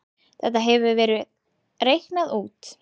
Þetta hefur verið reiknað út.